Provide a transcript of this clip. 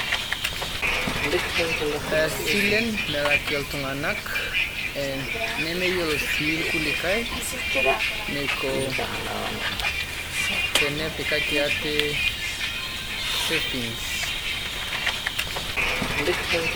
Isilen melak iltung'ana, nemeyiolo sii ilkulikai neiko tenepikaki aate savings.